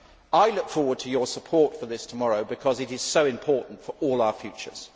I look forward to your support for this tomorrow because it is so important for all our futures.